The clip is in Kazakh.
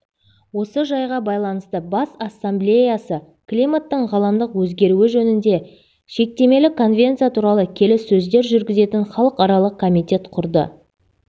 осы жайға байланысты бас ассамблеясы климаттың ғаламдық өзгеруі жөнінде шектемелі конвенция туралы келіссөздер жүргізетін халықаралық комитет құрды